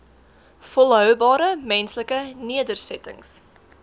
volhoubare menslike nedersettings